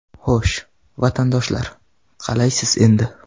Xo‘sh, vatandoshlar, qalaysiz endi?